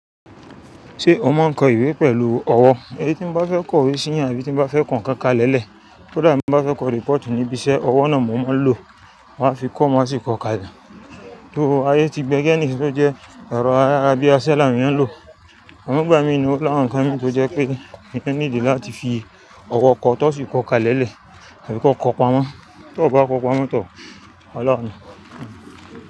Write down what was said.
Ṣé o máa ń kọ ìwé pẹ̀lú ọwọ́? Èyí tí mo bá fẹ́ kọ we sìyá àbí tí mo bá fẹ́ kọ nǹkan kalẹ̀lẹ̀, kódà tí mo bá fẹ́ kọ report níbi iṣẹ́, ọwọ́ náà mo máa ń lò. Máa fi kọ́, má sì kọ ká le. Tó ayé tí bẹ́gẹ̀ ni, kìnní sì jẹ́ ẹ̀rọ ayé abẹ́ asẹ́ làwọn ènìyàn ń lò. Àmọ́ ń gbà mí na ó làwọn ǹkan mi tó jẹ́ pé ènìyàn need láti fi ọwọ́ kọ tó sì kọ ká lẹ́lẹ̀, àbí kọ kọ pamọ́, tó bá kọ pamọ́ tán. Ọlọ́run.